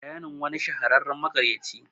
bayani. wani shahararren makaryaci